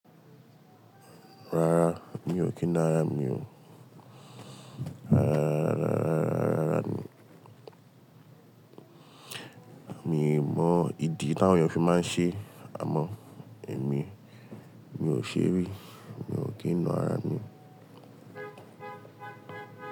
Rárá, mi ò kí na ara mi o. Rárá, rárá, rárá, rárá mi. Mi mọ ìdí táwọn èèyàn fi máa ń ṣe, àmọ́ èmi, mi ò ṣe rí, mi ò kí ń na ara mi.